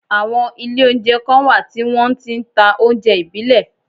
Àwọn Ilé oúnjẹ kan wà tí wọn ti n ta oúnjẹ ìbílẹ̀